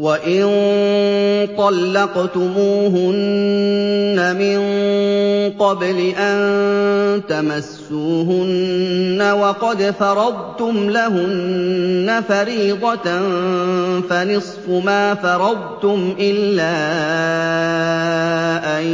وَإِن طَلَّقْتُمُوهُنَّ مِن قَبْلِ أَن تَمَسُّوهُنَّ وَقَدْ فَرَضْتُمْ لَهُنَّ فَرِيضَةً فَنِصْفُ مَا فَرَضْتُمْ إِلَّا أَن